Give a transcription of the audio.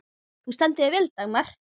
Þú stendur þig vel, Dagmar!